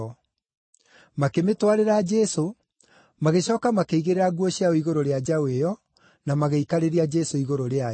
Makĩmĩtwarĩra Jesũ, magĩcooka makĩigĩrĩra nguo ciao igũrũ rĩa njaũ ĩyo, na magĩikarĩria Jesũ igũrũ rĩayo.